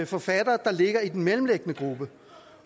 forfattere der ligger i den mellemliggende gruppe